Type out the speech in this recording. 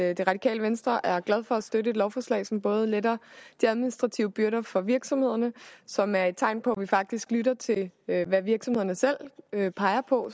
at det radikale venstre er glade for at støtte et lovforslag som både letter de administrative byrder for virksomhederne og som er et tegn på at vi faktisk lytter til hvad virksomhederne selv peger på